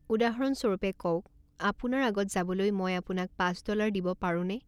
উদাহৰণস্বৰূপে, কওক, আপোনাৰ আগত যাবলৈ মই আপোনাক পাঁচ ডলাৰ দিব পাৰোঁনে?